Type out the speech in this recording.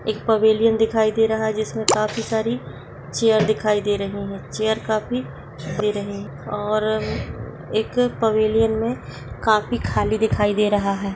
एक पवेलियन दिखाई दे रहा है जिसमे काफी सारी चेयर्स दिखाई दे रही है चेयर काफी दे रही है और एक पवेलियन में काफी खाली दिखाई दे रहा है।